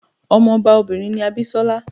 Ọmọ ọba obìnrin ni Abisola.